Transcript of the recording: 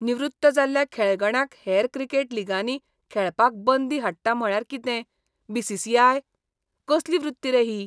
निवृत्त जाल्ल्या खेळगड्यांक हेर क्रिकेट लिगांनी खेळपाक बंदी हाडटा म्हळ्यार कितें बी.सी.सी.आय.? कसली वृत्ती रे ही?